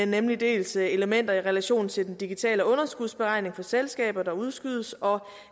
nemlig dels elementer i relation til den digitale underskudsberegning for selskaber der udskydes og